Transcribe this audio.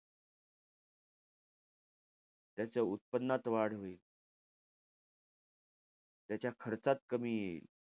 त्याच्या उत्पन्नात वाढ होईल. त्याच्या खर्चात कमी येईल.